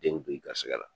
Den bɛ i garisigɛ la